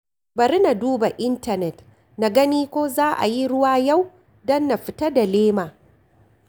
Bari na duba intanet na gani ko za a yi ruwa yau, don na fita da lema